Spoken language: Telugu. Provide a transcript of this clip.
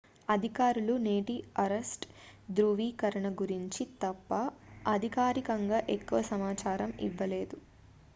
అధికారులు నేటి అరెస్ట్ ధ్రువీకరణ గురించి తప్ప అధికారికంగా ఎక్కువ సమాచారం ఇవ్వలేదు